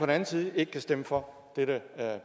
anden side ikke kan stemme for dette